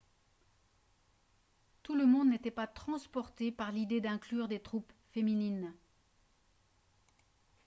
tout le monde n'était pas transporté par l'idée d'inclure des troupes féminines